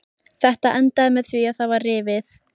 Þetta endaði með því að það var rifið.